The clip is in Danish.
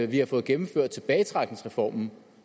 vi har fået gennemført tilbagetrækningsreformen